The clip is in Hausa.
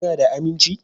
Kuna da aminci?